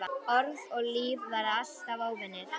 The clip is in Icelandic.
Orð og líf verða alltaf óvinir.